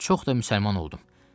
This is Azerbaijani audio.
Çox da müsəlman oldum.